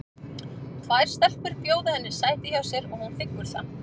Tvær stelpur bjóða henni sæti hjá sér og hún þiggur það.